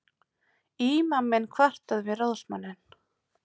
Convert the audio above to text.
Ímaminn kvartaði við ráðsmanninn.